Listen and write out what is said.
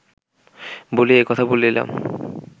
বলিয়া এ কথা বলিলাম